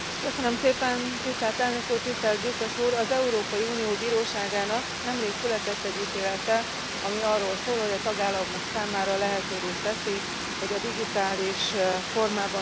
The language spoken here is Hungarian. Az Európai Unió Bíróságának nemrég született egy ítélete, ami arról szól, hogy a tagállamok számára lehetővé teszi, hogy a digitális formában tárolt könyveknek az áfáját csökkentsék.